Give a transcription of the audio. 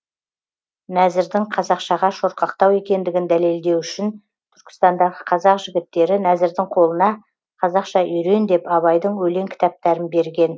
нәзірдің қазақшаға шорқақтау екендігін дәлелдеу үшін түркістандағы қазақ жігіттері нәзірдің қолына қазақша үйрен деп абайдың өлең кітаптарын берген